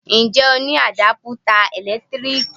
Ǹjẹ́ o ní Àdápútà ẹ̀lẹ́tíríkì?